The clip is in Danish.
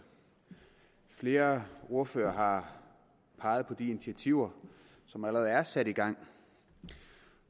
flere ordførere har peget på de initiativer som allerede er sat i gang